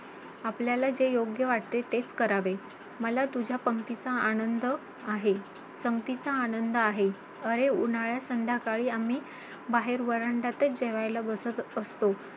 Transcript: आपल्या वडिलांकडे बघितलं , वडिलांना सांगितलं बाबा सुट्टी~